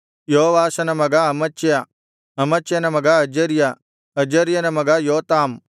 ಯೋವಾಷನ ಮಗ ಅಮಚ್ಯ ಅಮಚ್ಯ ಮಗ ಅಜರ್ಯ ಅಜರ್ಯನ ಮಗ ಯೋತಾಮ್